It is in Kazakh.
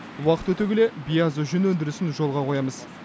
уақыт өте келе биязы жүн өндірісін жолға қоямыз